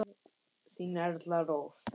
Þín Erla Rós.